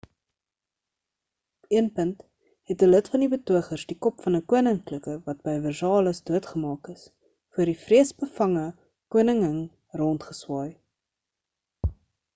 op een punt het 'n lid van die betogers die kop van 'n koninklike wat by versailles doodgemaak is voor die vreesbevange koningin rondgeswaai